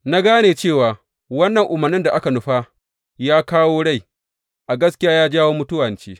Na gane cewa wannan umarnin da aka nufa ya kawo rai, a gaskiya ya jawo mutuwa ce.